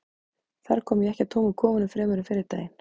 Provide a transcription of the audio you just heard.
þar kom ég ekki að tómum kofanum fremur en fyrri daginn